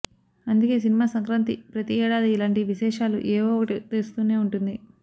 అందుకే సినిమా సంక్రాంతి ప్రతి ఏడాది ఇలాంటి విశేషాలు ఏవో ఒకటి తెస్తూనే ఉంటుంది